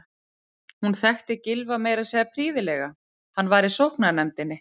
Hún þekkti Gylfa meira að segja prýðilega, hann var í sóknarnefndinni.